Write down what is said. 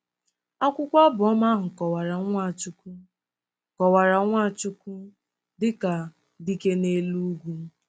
Akwụkwọ Abụ Ọma kọwara Nwachukwu kọwara Nwachukwu dị ka dike n'elu ugwu.